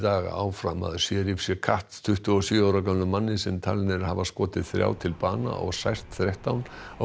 áfram að Cherif Chekatt tuttugu og sjö ára gömlum manni sem talinn er hafa skotið þrjá til bana og sært þrettán á